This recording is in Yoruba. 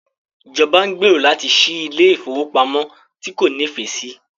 Ìjọba ń gbèrò láti ṣí ilé ìfowópamọ́ tí kò nífẹ̀ẹ́ sí.